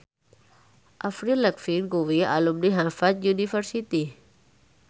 Avril Lavigne kuwi alumni Harvard university